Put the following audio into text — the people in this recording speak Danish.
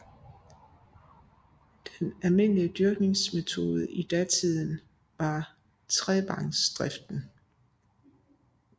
Den almindelige dyrkningsmetode i datiden var trevangsdriften